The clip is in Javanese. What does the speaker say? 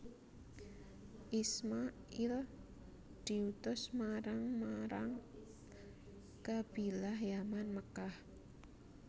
Isma il diutus marang marang Qabilah Yaman Mekkah